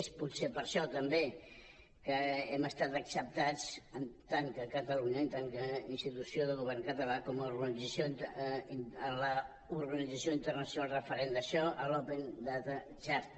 és per això també que hem estat acceptats en tant que catalunya en tant com a institució del govern català en l’organització internacional referent d’això a l’open data charter